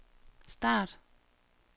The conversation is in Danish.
start